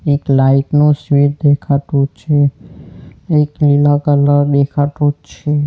એક લાઇટ નું સ્વીચ દેખાતું છે એક લીલા કલર દેખાતું જ છે.